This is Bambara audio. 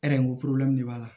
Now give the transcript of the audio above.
de b'a la